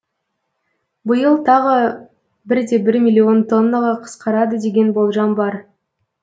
биыл тағы бір де бір миллион тоннаға қысқарады деген болжам бар